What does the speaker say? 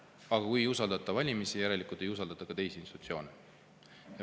Aga kui ei usaldata valimisi, järelikult ei usaldata ka riigiinstitutsioone.